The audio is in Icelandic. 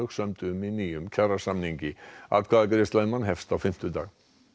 sömdu um í nýjum kjarasamningi atkvæðagreiðsla um hann hefst á fimmtudag